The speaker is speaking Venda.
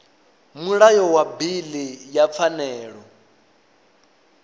mulayo wa bili ya pfanelo